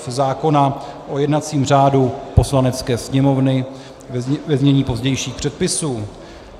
f) zákona o jednacím řádu Poslanecké sněmovny, ve znění pozdějších předpisů.